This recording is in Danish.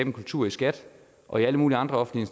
en kultur i skat og i alle mulige andre offentlige